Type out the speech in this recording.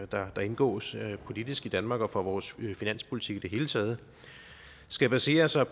der indgås politisk i danmark og for vores finanspolitik i det hele taget skal basere sig